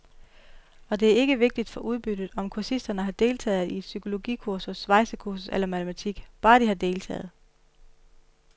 Og det er ikke vigtigt for udbyttet, om kursisterne har deltaget i psykologikursus, svejsekursus eller matematik, bare de har deltaget.